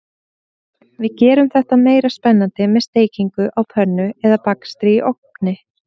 Við gerum þetta meira spennandi með steikingu á pönnu eða bakstri í ofni.